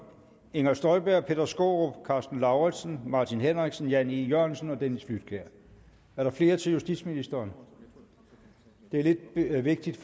inger støjberg peter skaarup karsten lauritzen martin henriksen jan e jørgensen dennis flydtkjær er der flere til justitsministeren det er lidt vigtigt